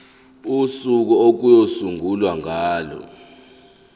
usuku okuyosungulwa ngalo